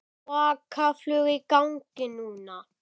Svaka flug í gangi núna.